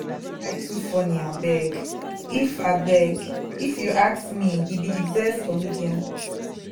dat guy too funny abeg. if abeg. if you ask me he be the best comedian